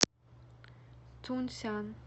тунсян